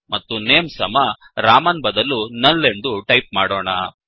ಮತ್ತು ನೇಮ್ ಸಮ ರಾಮನ್ ಬದಲು ನುಲ್ ಎಂದು ಟೈಪ್ ಮಾಡೋಣ